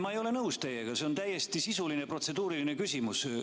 Ma ei ole teiega nõus, see oli täiesti sisuline protseduuriline küsimus.